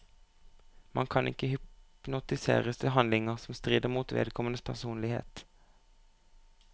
Man kan ikke hypnotiseres til handlinger som strider mot vedkommendes personlighet.